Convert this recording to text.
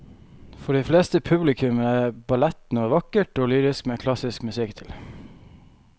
For de fleste publikummere er ballett noe vakkert og lyrisk med klassisk musikk til.